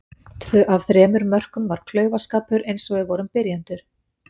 Tvö af þremur mörkum var klaufaskapur eins og við vorum byrjendur.